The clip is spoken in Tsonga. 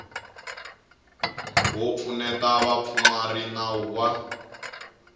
wo pfuneta vapfumari nawu wa